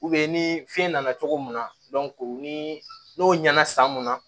ni fiɲɛ nana cogo mun na ni n'o ɲɛna san mun na